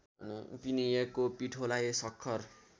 पिनिएको पिठोलाई सक्खर